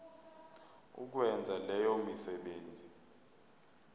ukwenza leyo misebenzi